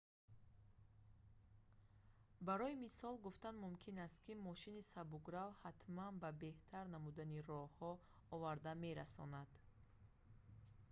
барои мисол гуфтан мумкин аст ки мошини сабукрав ҳатман ба беҳтар намудани роҳҳо оварда мерасонад